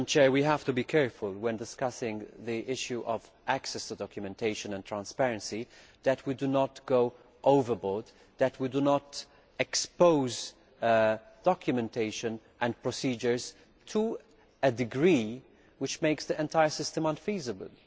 We have to be careful when discussing the issue of access to documentation and transparency that we do not go overboard, and that we do not expose documentation and procedures to a degree which makes the entire system unfeasible.